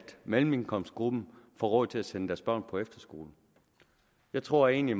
mellemindkomstgruppen får råd til at sende deres børn på efterskole jeg tror egentlig